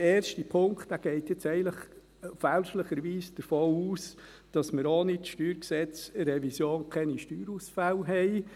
Der erste Punkt geht eigentlich fälschlicherweise davon aus, dass wir ohne die StG-Revision keine Steuerausfälle haben.